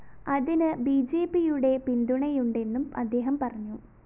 അതിന് ബിജെപിയുടെ പിന്തുണയുണ്ടെന്നും അദ്ദേഹം പറഞ്ഞു